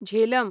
Jhelum